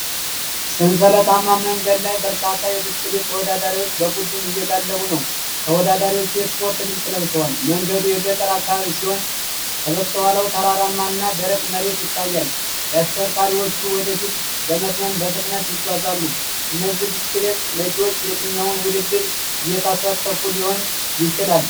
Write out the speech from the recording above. ሰንሰለታማ መንገድ ላይ በርካታ የብስክሌት ተወዳዳሪዎች በቡድን እየጋለቡ ነው። ተወዳዳሪዎቹ የስፖርት ልብስ ለብሰዋል። መንገዱ የገጠር አካባቢ ሲሆን ከበስተኋላው ተራራማ እና ደረቅ መሬት ይታያል። አሽከርካሪዎቹ ወደፊት በመትመም በፍጥነት ይጓዛሉ። እነዚህ ብስክሌት ነጂዎች የትኛውን ውድድር እየተሳተፉ ሊሆን ይችላል?